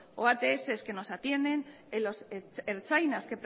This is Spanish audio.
o ats que nos atienden en los ertzainas